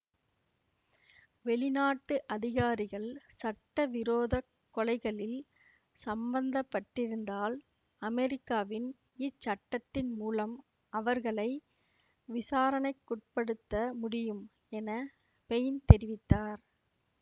வெளிநாட்டு அதிகாரிகள் சட்டவிரோதக் கொலைகளில் சம்பந்தப்பட்டிருந்தால் அமெரிக்காவின் இச்சட்டத்தின் மூலம் அவர்களை விசாரணைக்குட்படுத்த முடியும் என ஃபெயின் தெரிவித்தார்